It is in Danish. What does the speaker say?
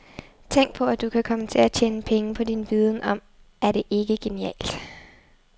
Tænk på, at du kan komme til at tjene penge på din viden om, er det ikke genialt.